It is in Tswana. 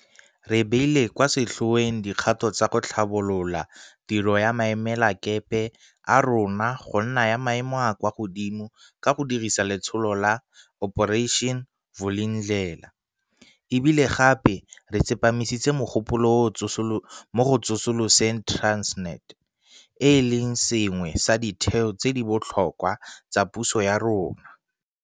Re beile kwa setlhoeng dikgato tsa go tlhabolola tiro ya maemelakepe a rona go nna ya maemo a a kwa godimo ka go dirisa letsholo la Operation Vulindlela mme e bile gape re tsepamisitse mogopolo mo go tsosoloseng Transnet, e leng se sengwe sa ditheo tse di botlhokwa tsa puso ya rona.